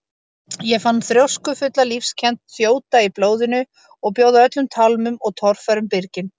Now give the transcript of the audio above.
Ég fann þrjóskufulla lífskennd þjóta í blóðinu og bjóða öllum tálmum og torfærum byrgin.